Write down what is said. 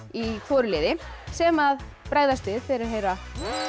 í hvoru liði sem bregðast við þegar þeir heyra